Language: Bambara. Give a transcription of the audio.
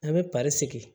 A bɛ sigi